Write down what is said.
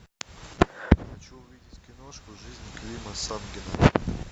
хочу увидеть киношку жизнь клима самгина